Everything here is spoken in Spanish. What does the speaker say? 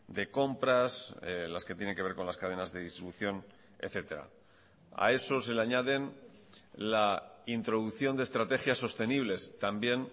de compras las que tiene que ver con las cadenas de distribución etcétera a esos se le añaden la introducción de estrategias sostenibles también